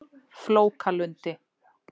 Flókalundi